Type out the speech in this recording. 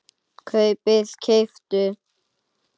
kaupið- keyptuð